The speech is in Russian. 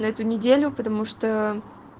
на эту неделю потому что